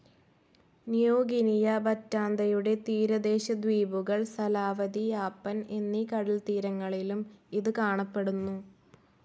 New Guinea, ബറ്റാന്തയുടെ തീരദേശ ദ്വീപുകൾ, സലാവാതി, യാപ്പൻ എന്നീ കടൽത്തീരങ്ങളിലും ഇത് കാണപ്പെടുന്നു.